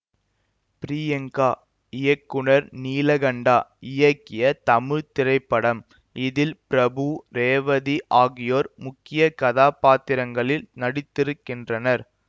பிரியங்கா இயக்குனர் நீலகண்டா இயக்கிய தமிழ் திரைப்படம் இதில் பிரபு ரேவதி ஆகியோர் முக்கிய கதாபாத்திரங்களில் நடித்திருக்கின்றனர்